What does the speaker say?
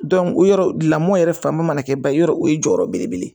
o yɔrɔ lamɔ yɛrɛ fanba mana kɛ ba ye yɔrɔ o ye jɔyɔrɔ belebele